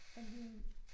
Der hiver vi